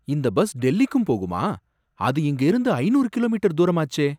இந்த பஸ் டெல்லிக்கும் போகுமா அது இங்க இருந்து ஐநூறு கிலோமீட்டர் தூரமாச்சே?